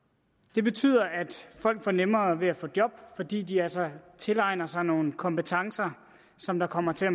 det betyder at folk får nemmere ved at få job fordi de altså tilegner sig nogle kompetencer som der kommer til at